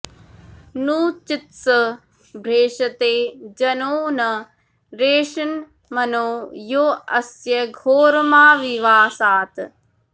नू चित्स भ्रेषते जनो न रेषन्मनो यो अस्य घोरमाविवासात्